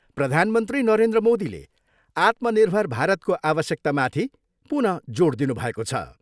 प्रधानमन्त्री नरेन्द्र मोदीले आत्मनिर्भर भारतको आवश्यकतामाथि पुनः जोड दिनुभएको छ।